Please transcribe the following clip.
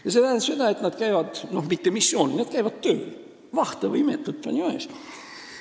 Ja see tähendab seda, et nad ei käi mitte missioonil, vaid nad käivad tööl – vahtovõi metod, ponimaješ?